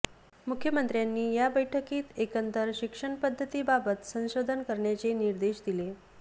मुख्यमंत्र्यांनी या बैठकीत एकंदर शिक्षण पद्धतीबाबत संशोधन करण्याचे निर्देश दिले